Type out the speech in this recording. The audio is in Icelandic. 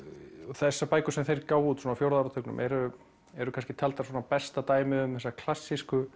þessar bækur sem þeir gáfu út svona á fjórða áratugnum eru eru kannski taldar svona besta dæmið um þessa klassísku